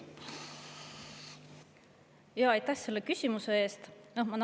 Aitäh selle küsimuse eest!